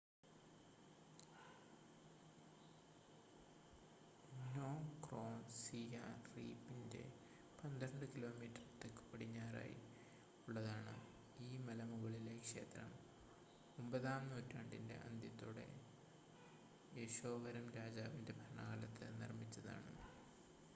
നോം Krom സിയാം റീപ്പിന്‍റെ 12 കി.മീ. തെക്കുപടിഞ്ഞാറായി ഉള്ളതാണ്‌. ഈ മലമുകളീലെ ക്ഷേത്രം 9 ആം നൂറ്റാണ്ടിന്‍റെ അന്ത്യത്തോടെ യശോവരം രാജാവിന്‍റെ ഭരണകാലത്ത് നിര്‍മ്മിച്ചതാണ്‌